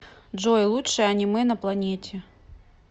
джой лучшее аниме на планете